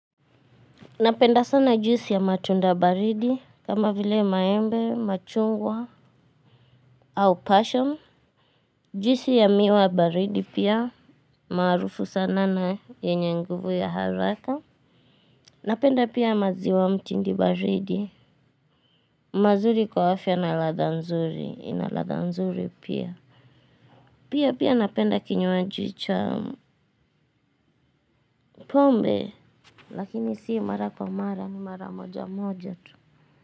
Napenda sana juisi ya matunda baridi, kama vile maembe, machungwa, au pasham. Juisi ya miwa baridi pia, marufu sana na yenye nguvu ya haraka. Napenda pia maziwa mtindi baridi, mazuri kwa afya na ladha nzuri, ina ladha nzuri pia. Pia pia napenda kinywaji cha pombe, lakini si mara kwa mara ni mara moja moja tu.